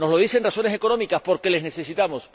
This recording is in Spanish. Nos lo dicen razones económicas, porque les necesitamos.